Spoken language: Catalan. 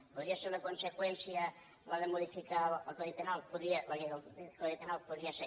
podria ser una conseqüència la de modificar el codi penal la llei del codi penal ho podria ser